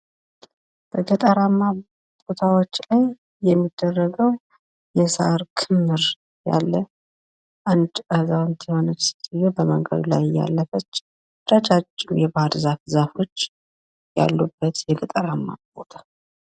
በገጠራማ ቦታዎች ላይ የሚደረጉ የሳር ክምር አለ፤ አንዲት አዛዉንት የሆነች ሴትዮ በመንገድ ላይ እያለፈች ፤ ረጃጅም ባህርዛፎች ያሉበት የገጠራማ ቦታ።